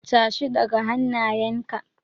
Tashi, ɗaga hannayenka!